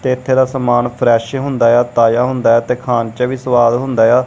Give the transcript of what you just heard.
ਤੇ ਏੱਥੇ ਦਾ ਸਮਾਨ ਫ਼੍ਰੇਸ਼ ਹੁੰਦਾ ਯਾ ਤਾਜ਼ਾ ਹੁੰਦਾ ਹੈ ਤੇ ਖਾਨ ਚ ਵੀ ਸੁਆਦ ਹੁੰਦਾ ਯਾ।